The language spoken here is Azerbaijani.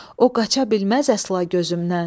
O qaça bilməz əsla gözümdən.